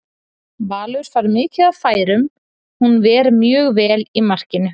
Valur fær mikið af færum, hún ver mjög vel í markinu?